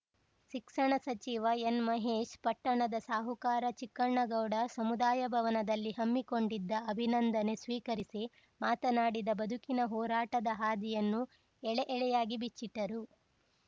ಶಿಕ್ಷಣ ಸಚಿವ ಎನ್‌ ಮಹೇಶ್‌ ಪಟ್ಟಣದ ಸಾಹುಕಾರ ಚಿಕ್ಕಣಗೌಡ ಸಮುದಾಯಭವನದಲ್ಲಿ ಹಮ್ಮಿಕೊಂಡಿದ್ದ ಅಭಿನಂದನೆ ಸ್ವೀಕರಿಸಿ ಮಾತನಾಡಿದ ಬದುಕಿನ ಹೋರಾಟದ ಹಾದಿಯನ್ನು ಎಳೆ ಎಳೆಯಾಗಿ ಬಿಚ್ಚಿಟ್ಟರು